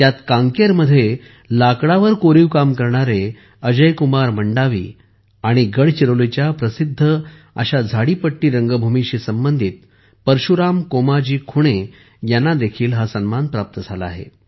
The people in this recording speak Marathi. यात कांकेरमध्ये लाकडावर कोरीव काम करणारे अजयकुमार मंडावी आणि गडचिरोलीच्या प्रसिद्ध झाडीपट्टी रंगभूमीशी संबंधित परशुराम कोमाजी खुणे यांनाही हा सन्मान प्राप्त झाला आहे